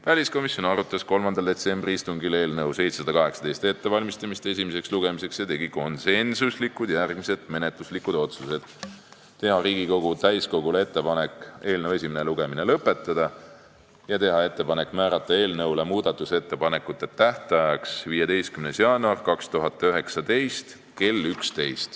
Väliskomisjon arutas 3. detsembri istungil eelnõu 718 ettevalmistamist esimeseks lugemiseks ja tegi järgmised konsensuslikud menetlusotsused: teha Riigikogu täiskogule ettepanek eelnõu esimene lugemine lõpetada ja määrata muudatusettepanekute tähtajaks 15. jaanuar 2019 kell 11.